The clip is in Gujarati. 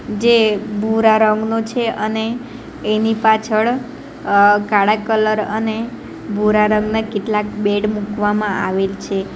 જે ભૂરા રંગનો છે અને એની પાછળ અહ કાળા કલર અને ભૂરા રંગના કેટલાક બેડ મૂકવામાં આવેલ છે.